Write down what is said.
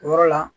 O yɔrɔ la